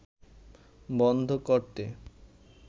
বন্ধ করতে